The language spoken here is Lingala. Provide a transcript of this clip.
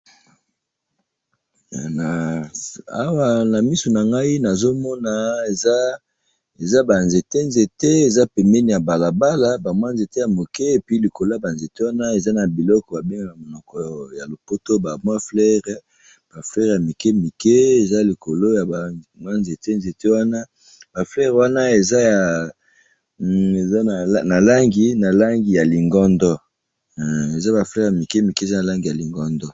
Awa nazomona banzete nabalabala, banzete yamuke naba fleur ya langi yalingondo